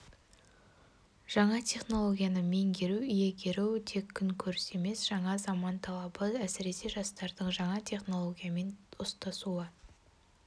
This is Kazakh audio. жаңа технологияны меңгеру иегеру тек күн көріс емес жаңа заман талабы әсіресе жастардың жаңа технологиямен достасуы